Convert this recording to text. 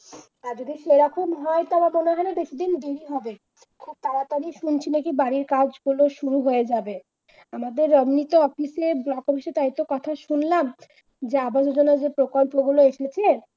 আর যদি সেরকম হয় তাহলে বলে বলে দেখবি হবে তাড়াতাড়ি শুনছি নাকি বাড়ির কাজ তোদের শুরু হয়ে যাবে আমাদের এমনিতে অফিসে যতবেশি কথা শুনলাম আগামী দিনে যে প্রকল্প গুলো এসেছে